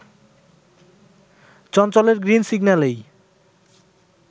চঞ্চলের green সিগন্যালেই